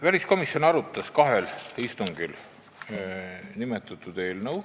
Väliskomisjon arutas seda eelnõu kahel istungil.